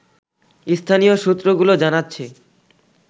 স্থানীয় সূত্রগুলো জানাচ্ছে